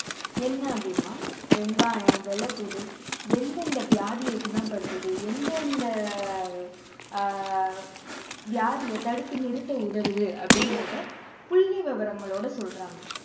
என்ன அப்படின்னா வெங்காயம், வெள்ளைப் பூண்டு எந்தெந்த வியாதியை குணப்படுத்துது எந்தெந்த அஹ் வியாதியை தடுத்து நிறுத்த உதவுது அப்படின்றதை புள்ளிவிவரங்களோட சொல்றாங்க